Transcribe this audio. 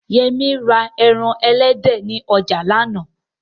Yẹmí ra ẹran elédè ni ọjà lánàá